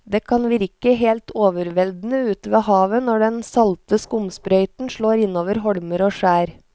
Det kan virke helt overveldende ute ved havet når den salte skumsprøyten slår innover holmer og skjær.